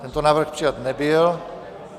Tento návrh přijat nebyl.